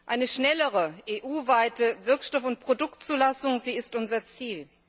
Eine schnellere EU weite Wirkstoff und Produktzulassung ist unser Ziel.